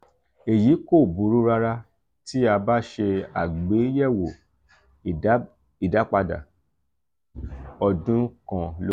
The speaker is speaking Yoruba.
eyi ko buru rara ti a ba se agbeyewo idapada odun kan lori...